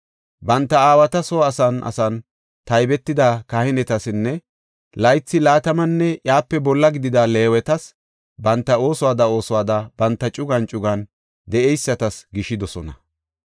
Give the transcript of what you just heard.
Banta aawata soo asan asan taybetida kahinetasinne laythi, laatamanne iyape bolla gidida Leewetas banta oosuwada oosuwada banta cugan cugan de7eysatas gishidosona.